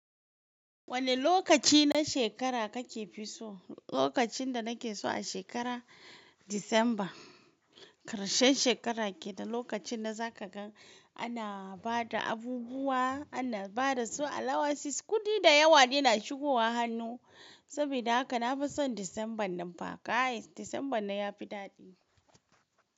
Wane lokaci na shekara kake fi so? Lokacin da nake so a shekara December, ƙarshen shekara ke da lokacin da zaka gan ana bada abubuwa, ana bada su, allowances, kuɗi da yawa ne na shigowa hannu. Saboda haka na fi son December nan fa kay, December nan yafi daɗi.